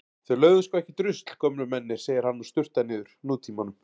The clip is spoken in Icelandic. Þeir lögðu sko ekkert rusl gömlu mennirnir, segir hann og sturtar niður Nútímanum.